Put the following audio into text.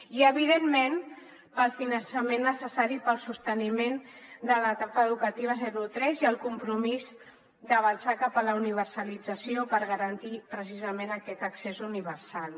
i evidentment pel finançament necessari per al sosteniment de l’etapa educativa zero tres i el compromís d’avançar cap a la universalització per garantir precisament aquest accés universal